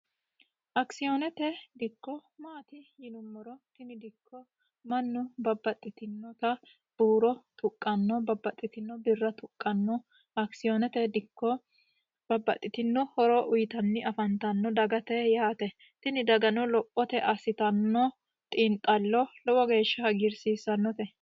Akisonete dikko mayaati yinuummoro tini dikko mannu babbaxxitinotta huuro tuqano babbaxxitino birra tuqano akisonete dikko babbaxxitino horo uyittanni afantano dagate yaate abbittano xiinxalo lowo geeshsha hagiirsiisanote.